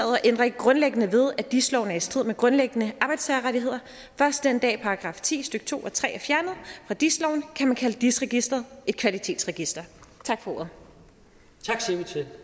og ændrer ikke grundlæggende ved dis loven er i strid med grundlæggende arbejdstagerrettigheder først den dag § ti stykke to og tre er fjernet fra dis loven kan man kalde dis registeret et kvalitetsregister tak for